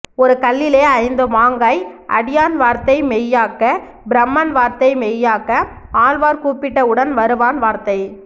ஒரு கல்லிலே ஐந்து மாங்காய் அடியான் வார்த்தை மெய்யாக்க பிரமன் வார்த்தை மெய்யாக்க ஆழ்வார் கூப்பிட்ட உடன் வருவான் வார்த்தை